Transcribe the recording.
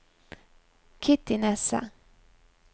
Kitty Nesse